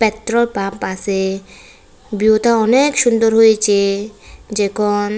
petrol pump আছে ভিউটা অনেক সুন্দর হয়েছে যেকন --